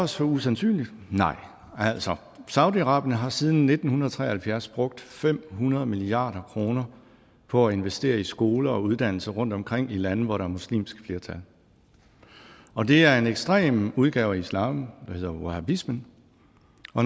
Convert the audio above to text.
så usandsynligt nej saudi arabien har siden nitten tre og halvfjerds brugt fem hundrede milliard kroner på at investere i skoler og uddannelser rundtomkring i lande hvor der er muslimsk flertal og det er en ekstrem udgave af islam der hedder wahabisme